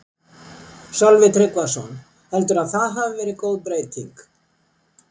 Sölvi Tryggvason: Heldurðu að það hafi verið góð breyting?